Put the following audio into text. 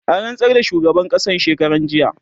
an rantsar da shugaban ƙasan shekaran jiya